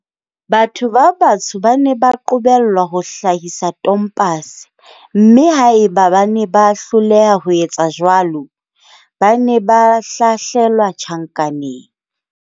Batho ba batsho ba ne ba qobellwa ho hlahisa tompase, mme haeba ba ne ba hloleha ho etsa jwalo, ba ne ba hlahlelwa tjhankaneng.